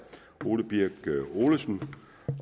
ole birk olesen